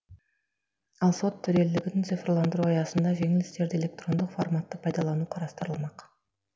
ал сот төрелігін цифрландыру аясында жеңіл істерді электрондық форматты пайдалану қарастырылмақ